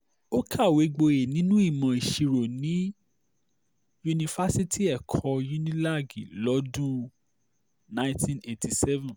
ó kàwé gboyè nínú ìmọ̀ ìṣirò ní yunifásitì ẹ̀kọ́ unilag lọ́dún 1987